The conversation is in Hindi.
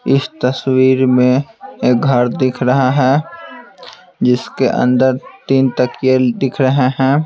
इस तस्वीर में एक घर दिख रहा है जिसके अंदर तीन तकये दिख रहे हैं।